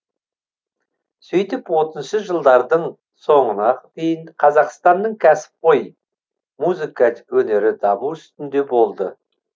сөйтіп отызыншы жылдардың соңына дейін қазақстанның көсіпқой музыка өнері даму үстінде болды